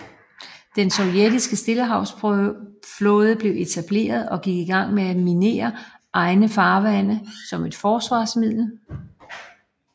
Den sovjetiske stillehavsflåde blev etableret og gik i gang med at minere egne farvande som et forsvarsmiddel